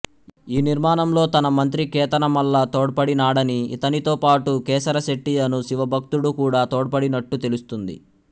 ఈ నిర్మాణంలో తన మంత్రి కేతనమల్ల తోడ్పడినాడని ఇతనితో పాటూ కేసరశెట్టి అను శివభక్తుడు కూడా తోడ్పడినట్టు తెలుస్తుంది